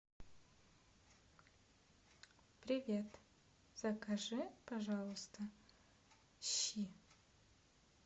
привет закажи пожалуйста щи